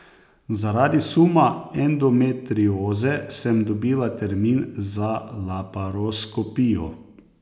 Zaradi suma endometrioze sem dobila termin za laparoskopijo.